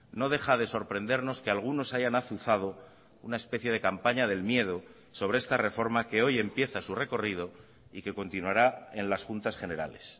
no deja de sorprendernos que algunos hayan azuzado una especie de campaña del miedo sobre esta reforma que hoy empieza su recorrido y que continuará en las juntas generales